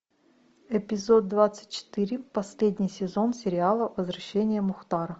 эпизод двадцать четыре последний сезон сериала возвращение мухтара